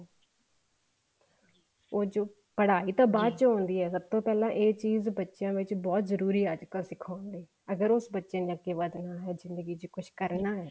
ਉਹ ਜੋ ਪੜਾਈ ਤਾਂ ਬਾਅਦ ਚ ਹੁੰਦੀ ਹੈ ਸਭ ਤੋਂ ਪਹਿਲਾਂ ਇਹ ਚੀਜ਼ ਬੱਚਿਆਂ ਵਿੱਚ ਬਹੁਤ ਜਰੂਰੀ ਅੱਜਕਲ ਸਿਖਾਉਣ ਲਈ ਅਗਰ ਉਹ ਉਸ ਬੱਚੇ ਅੱਗੇ ਵਧਣਾ ਹੈ ਜਿੰਦਗੀ ਚ ਕੁੱਛ ਕਰਨਾ ਹੈ ਤਾਂ